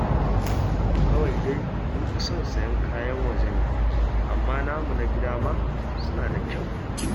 Kawai dai mun fi son sayen kayan waje ne, amma namu na gida ma suna da kyau